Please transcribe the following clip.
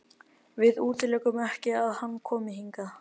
Við útilokum ekki að hann komi hingað.